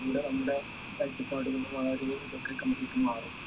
പിന്നെ നമ്മുടെ കാഴ്ചപ്പാടുകളും അഹ് ഒരു രീതിയിൽ ഇതൊക്കെ completely മാറും